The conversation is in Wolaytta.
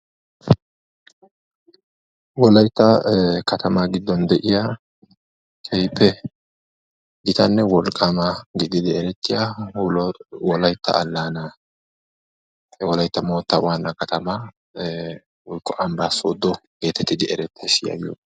wolaytta kataamaa giidon de'iyaa keehippe giitanne wolqqamaa giididi eretiyaa wolaytta aalanaa wolaytta moottaa waanna kataamaa woogga ambbaa soodo geetetidi eretees.